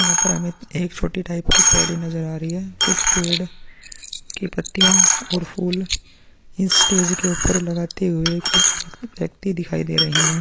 यहाँ पर हमें एक छोटी टाइप की नजर आ रही है कुछ पेड़ की पत्तियाँ और फूल इस स्टेज के ऊपर लगते हुए कुछ व्यक्ति दिखाई दे रहे हैं।